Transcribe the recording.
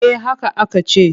Eh haka aka ce.